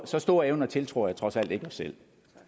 så store evner tiltror jeg trods alt ikke os selv